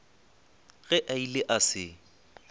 ge a ile a se